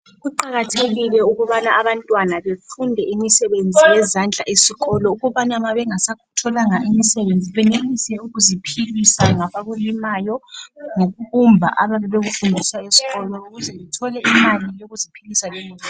Kuqakathekile ukubana abantwana befunde imisebenzi yezandla esikolo ukubana nxa bengasakutholanga imisebenzi benelise ukuziphilisa ngabakulimayo ngokubumba ababe bekufundiswa esikolo ukuze bethole imali yokuziphilisa lemuli yabo